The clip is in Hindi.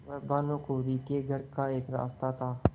वह भानुकुँवरि के घर का एक रास्ता था